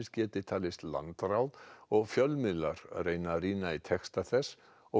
geti talist landráð og fjölmiðlar reyna að rýna í texta þess og